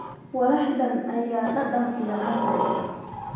Walaxdan ayaa dhadhan fiican leh.